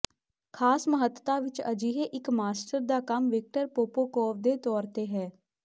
ਖਾਸ ਮਹੱਤਤਾ ਵਿਚ ਅਜਿਹੇ ਇੱਕ ਮਾਸਟਰ ਦਾ ਕੰਮ ਵਿਕਟਰ ਪੋਪੋਕੋਵ ਦੇ ਤੌਰ ਤੇ ਹੈ